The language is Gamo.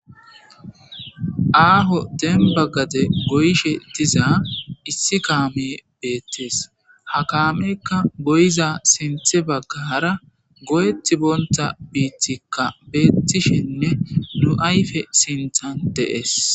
Aaho dembba gaze goyishe diza issi kaamee beeththes; ha kaameekka goyiza sinththe baggaara goyeththibonththa biiththikka beeththishenne nu ayfe sinththan de7ees.